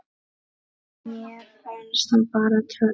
Mér fannst það bara. töff.